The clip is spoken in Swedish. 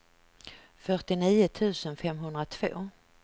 fyrtionio tusen femhundratvå